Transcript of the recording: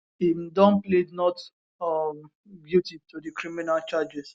im don plead not um guilty to di criminal charges